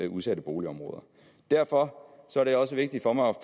udsatte boligområder derfor er det også vigtigt for mig